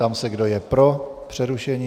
Ptám se, kdo je pro přerušení.